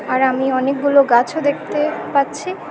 আর আমি অনেকগুলো গাছও দেখতে পাচ্ছি।